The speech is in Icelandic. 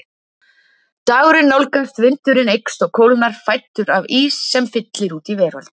Dagurinn nálgast, vindurinn eykst og kólnar, fæddur af ís sem fyllir út í veröld